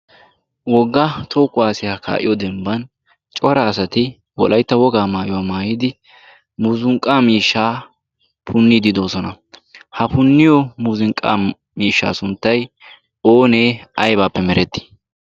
woggaa toho kuwaasiyaa kaa7iyo dembban cora asati wolaitta wogaa maayuwaa maayidi muzunqqa miishshaa punniidi doosona. ha punniyo muzunqqa miishshaa sunttai oonee aibaappe merettii?